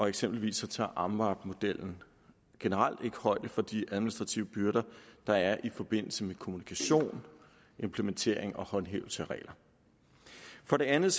eksempelvis tager amvab metoden generelt ikke højde for de administrative byrder der er i forbindelse med kommunikation implementering og håndhævelse af regler for det andet